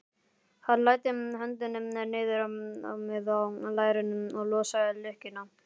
Hann læddi höndinni niður með lærinu og losaði lykkjuna.